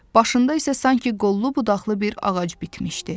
Başında isə sanki qollu-budaqlı bir ağac bitmişdi.